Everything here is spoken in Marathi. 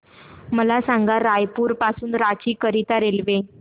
मला सांगा रायपुर पासून रांची करीता रेल्वे